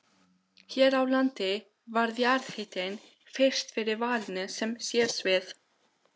Hér á landi varð jarðhitinn fyrst fyrir valinu sem sérsvið.